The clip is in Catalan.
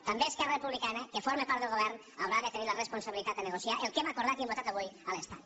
també esquerra republicana que forma part del govern haurà de tenir la responsabilitat de negociar el que hem acordat i hem votat avui a l’estat